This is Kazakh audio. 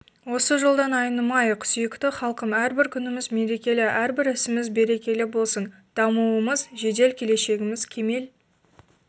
осы жолдан айнымайық сүйікті халқым әрбір күніміз мерекелі әрбір ісіміз берекелі болсын дамуымыз жедел келешегіміз кемел